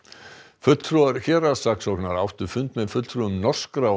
fulltrúar héraðssaksóknara áttu fund með fulltrúum norskra og